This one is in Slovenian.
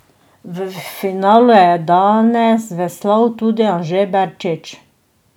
V finalu je danes veslal tudi Anže Berčič.